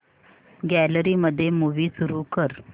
gallery मध्ये movie सुरू कर